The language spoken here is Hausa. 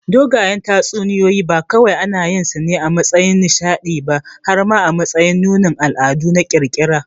Dogayen tatsuniyoyi ba kawai anayinsu ne a matsayin nishaɗi ba har ma a matsayin nunin al'adu na ƙirƙira.